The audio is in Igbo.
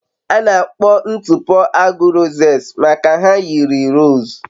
A na-akpọ ntụpọ agu rosettes maka na ha yiri rose